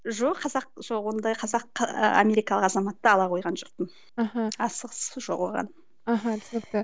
жоқ қазақ жоқ ондай қазақ ы америкалық азаматтық ала қойған жоқпын мхм асығыстық жоқ оған мхм түсінікті